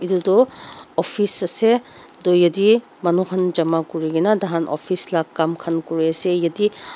etu office ase tu yete manu kan jama kuri kina taikan office la kam kan kuri ase yete.